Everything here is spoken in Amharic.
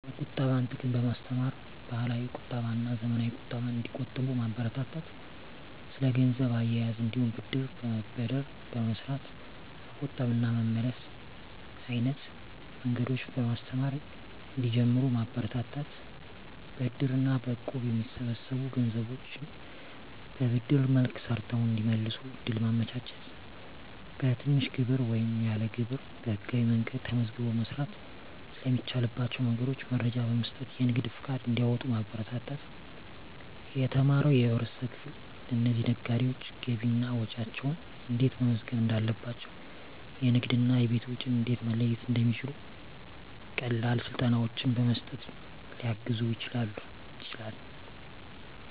የቁጠባን ጥቅም በማስተማር፣ ባህላዊ ቁጠባና ዘመናዊ ቁጠባን እንዲቆጥቡ ማበረታታት። ስለ ገንዘብ አያያዝ እንዲሁም ብድር በመበደር በመስራት መቆጠብ እና መመለስ አይነት መንገዶችን በማስተማር እንዲጀምሩት ማበረታታት። በእድር እና በእቁብ የሚሰበሰቡ ገንዘቦችን በብድር መልክ ሰርተው እንዲመልሱ እድል ማመቻቸት። በትንሽ ግብር ወይም ያለ ግብር በህጋዊ መንገድ ተመዝግቦ መስራት ስለሚቻልባቸው መንገዶች መረጃ በመስጠት የንግድ ፈቃድ እንዲያወጡ ማበረታታት። የተማረው የህብረተሰብ ክፍል ለእነዚህ ነጋዴዎች ገቢና ወጪያቸውን እንዴት መመዝገብ እንዳለባቸው፣ የንግድና የቤት ወጪን እንዴት መለየት እንደሚችሉ ቀላል ስልጠናዎችን በመስጠት ሊያግዝ ይችላል።